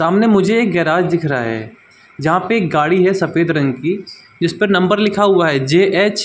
सामने मुझे एक गैराज दिख रहा है जहाँ पे एक गाड़ी है सफेद रंग की जिस पर नंबर लिखा हुआ है जेएच --